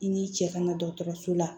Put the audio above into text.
I ni cɛ kana dɔgɔtɔrɔso la